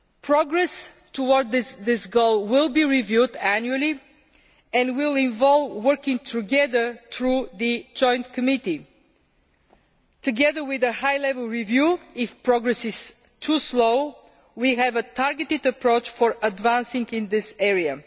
Progress towards this goal will be reviewed annually and will involve working together through the Joint Committee. Together with a high level review if progress is too slow, we have a targeted approach for advancing in this area.